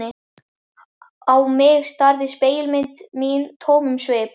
Á mig starði spegilmynd mín tómum svip.